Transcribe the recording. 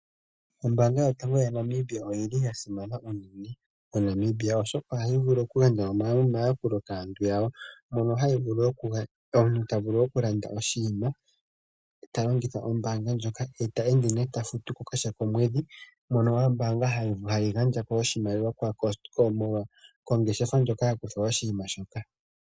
Ombaanga yotango yopashigwana oya simana unene moNamibia oshoka ohayi vulu okugandja omatakulo kaabtu yawo mono omhnth tavulu okulanda oshinima talongitha ombaanga ndjoka ye ta ende nee tafutuko kehe komwedhi mono ombaanga hayi gandja oshimaliwa kongeshefa ndjono kwakutgwa oshinima shoka.